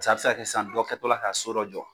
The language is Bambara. A bi se ka kɛ sisan dɔ kɛtɔla ka so dɔ jɔ.